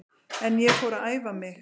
En ég fór að æfa mig.